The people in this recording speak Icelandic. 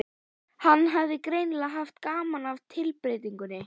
Hann hafði greinilega haft gaman af tilbreytingunni.